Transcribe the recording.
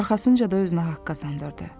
Arxasınca da özünə haqq qazandırdı.